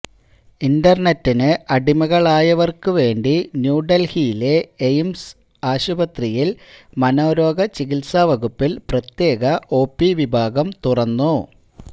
ഇന്റര്നെറ്റിന് അടിമകളായവര്ക്കുവേണ്ടി ന്യൂദല്ഹിയിലെ എയിംസ് ആശുപത്രിയില് മനോരോഗചികിത്സാവകുപ്പില് പ്രത്യേക ഒപി വിഭാഗം തുറന്നു